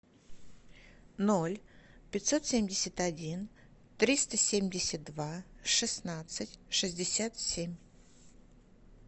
ноль пятьсот семьдесят один триста семьдесят два шестнадцать шестьдесят семь